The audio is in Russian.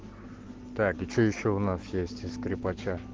так и что ещё у нас есть из скрипача